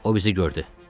O bizi gördü.